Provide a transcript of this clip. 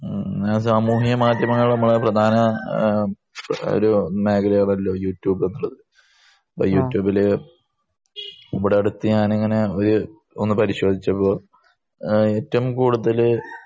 മ്മ്ഹ ഞാൻ സാമൂഹ്യ മാധ്യമങ്ങളിൽ നമ്മളെ പ്രധാന ആഹ് ഒരു മേഖലയാണല്ലോ യൂട്യൂബ് എന്നുള്ളത് അപ്പൊ യൂട്യൂബില് ഇവിടെ അടുത്ത് ഞാനിങ്ങനെ ഒരു ഒന്ന് പരിശോധിച്ചപ്പോ അഹ് ഏറ്റവും കൂടുതല്